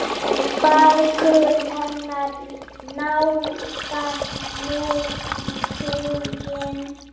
Bækur hennar nálgast nú tuginn.